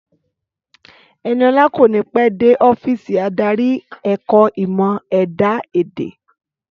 Ẹniọlá kò ní pẹ́ dé ọ́fíìsì adarí ẹ̀ka ẹ̀kọ́ ìmọ̀ ẹ̀dá èdè